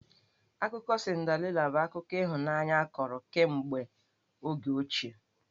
Akụkọ Cinderela bụ akụkọ ịhụnanya a kọrọ kemegbe oge ochie.